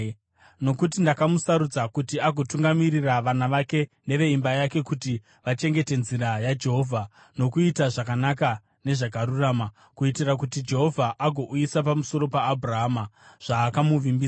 Nokuti ndakamusarudza kuti agotungamirira vana vake neveimba yake kuti vachengete nzira yaJehovha nokuita zvakanaka nezvakarurama, kuitira kuti Jehovha agouyisa pamusoro paAbhurahama zvaakamuvimbisa.”